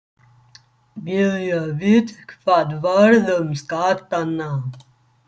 Vilja vita hvað varð um skattana